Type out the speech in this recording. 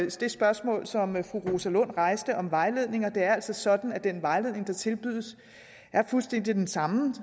det spørgsmål som fru rosa lund rejste om vejledning det er altså sådan at den vejledning der tilbydes er fuldstændig den samme